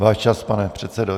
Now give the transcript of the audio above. Váš čas, pane předsedo.